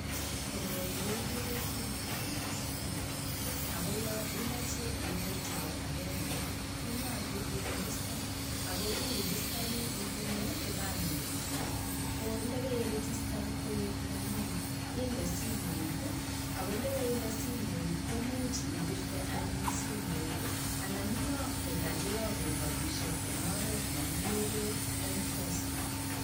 Koroi kekure sim card Nebo Safaricom akimuch irejistan ak kipandet nengung asiboishe ipire simet ak kayoktoet ab chepkondok eng MPESA